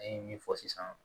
An ye min fɔ sisan